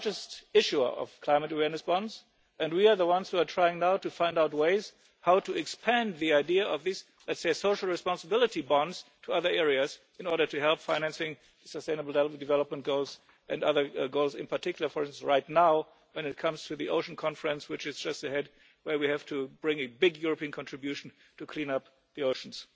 still the largest issuer of climate awareness bonds and we are the ones who are now trying to find ways of expanding the idea of these let's say social responsibility bonds to other areas in order to help finance sustainable development goals and other goals in particular, for instance, right now when it comes to the Ocean Conference which is just ahead, where we have to bring a big European contribution to cleaning up the oceans.